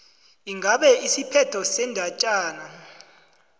ingabe isiphetho sendatjana